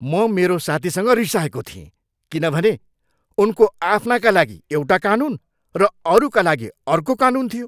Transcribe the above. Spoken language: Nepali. म मेरो साथीसँग रिसाएको थिएँ किनभने उनीको आफ्नाका लागि एउटा कानून र अरूका लागि अर्को कानून थियो।